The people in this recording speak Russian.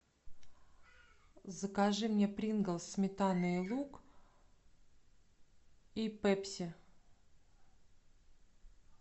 закажи мне принглс сметана и лук и пепси